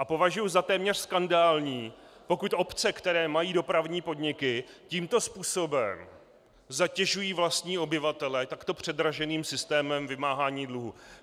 A považuju za téměř skandální, pokud obce, které mají dopravní podniky, tímto způsobem zatěžují vlastní obyvatele takto předraženým systémem vymáhání dluhů.